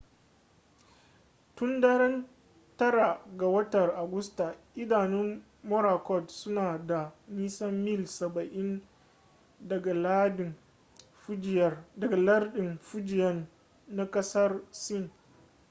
tun daren 9 ga watan agusta idanun morakot suna da nisan mil saba'in daga lardin fujian na kasar sin